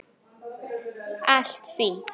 Allt fínt.